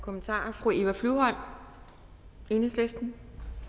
kommentarer fru eva flyvholm enhedslisten